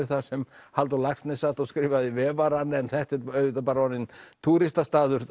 þar sem Halldór Laxness sat og skrifaði Vefarann en þetta er auðvitað bara orðinn